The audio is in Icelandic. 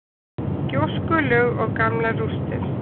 Gjóskulög og gamlar rústir.